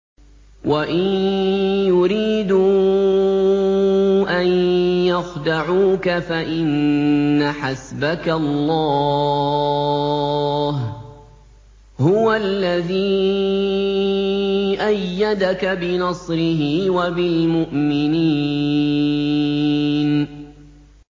وَإِن يُرِيدُوا أَن يَخْدَعُوكَ فَإِنَّ حَسْبَكَ اللَّهُ ۚ هُوَ الَّذِي أَيَّدَكَ بِنَصْرِهِ وَبِالْمُؤْمِنِينَ